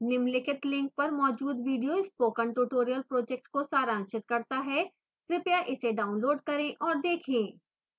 निम्नलिखित link पर मौजूद video spoken tutorial project को सारांशित करता है कृपया इसे डाउनलोड करें और देखें